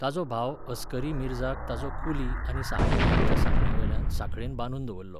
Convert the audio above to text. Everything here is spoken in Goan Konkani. ताचो भाव असकरी मिर्झाक ताचो कुली आनी सहाय्यकांच्या सांगण्यावेल्यान सांखळेन बांदून दवरलो.